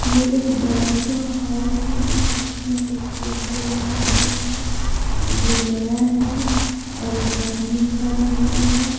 ये एक बड़ा सा हॉल है जिसमे एक टेम्पो लगा हुआ है जो नया है और एक आदमी खड़ा हुआ है।